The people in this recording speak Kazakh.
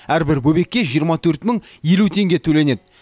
әрбір бөбекке жиырма төрт мың елу теңге төленеді